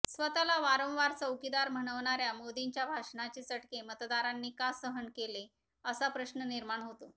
स्वतःला वारंवार चौकीदार म्हणवणाऱ्या मोदींच्या भाषणाचे चटके मतदारांनी का सहन केले असा प्रश्न निर्माण होतो